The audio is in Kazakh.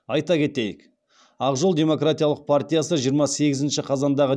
айта кетейік ақ жол демократиялық партиясы жиырма сегізінші қазандағы